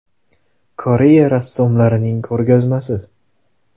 Koreya rassomlarining ko‘rgazmasi.